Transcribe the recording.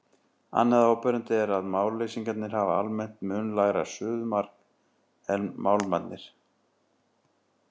Annað áberandi er að málmleysingjarnir hafa almennt mun lægra suðumark en málmarnir.